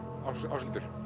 Áshildur